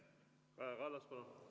Kaja Kallas, palun!